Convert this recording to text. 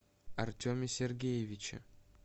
артеме сергеевиче